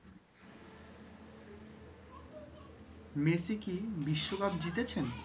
Messi কি বিশ্বকাপ জিতেছেন?